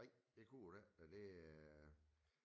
Nej det kunne det ikke og det